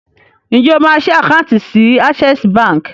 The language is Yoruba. Ǹjẹ́ o máa ṣí àkáùntì sí Access Bank?